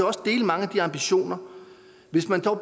også dele mange af de ambitioner hvis man dog